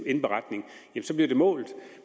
indberetning så bliver det målt